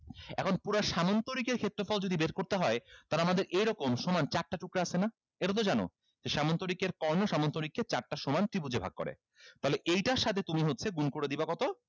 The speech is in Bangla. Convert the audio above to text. এখন পুরা সামান্তরিকের ক্ষেত্রফল যদি বের করতে হয় তাহলে আমাদের এইরকম সমান চারটা টুকরা আছে না এটাতো জানো যে সামান্তরিকের কর্ণ সামন্তরিককে চারটা সমান ত্রিভুজে ভাগ করে তাহলে এইটার সাথে তুমি হচ্ছে গুন করে দিবা কত